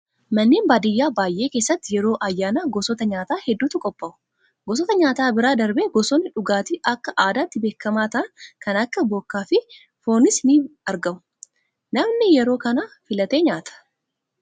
Manneen baadiyyaa baay'ee keessatti yeroo ayyaanaa gosoota nyaata hedduutu qophaa'u. Gosoota nyaataa bira darbee gosoonni dhugaatii Akka aadaatti beekamaa ta'an kan akka bookaa fi foonis ni argamu. Namni yeroo kana filatee nyaata.